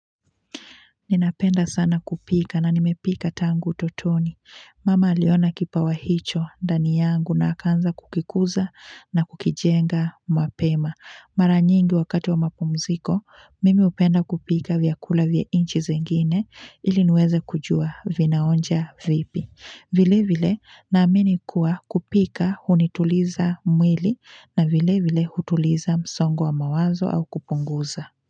Ninapenda sana kupika na nimepika tangu utotoni. Mama aliona kipawa hicho ndani yangu na akaanza kukikuza na kukijenga mapema. Mara nyingi wakati wa mapumziko, mimi hupenda kupika vyakula vya inchi zingine ili niweze kujua vinaonja vipi. Vile vile naamini kuwa kupika hunituliza mwili na vile vile hutuliza msongo wa mawazo au kupunguza.